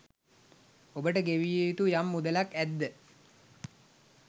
ඔබට ගෙවිය යුතු යම් මුදලක් ඇද්ද